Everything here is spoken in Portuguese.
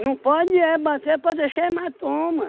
pode é bater para deixar hematoma.